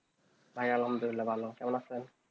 ভাই আলহামদুলিল্লাহ ভালো ভালো আছেন?